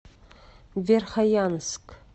верхоянск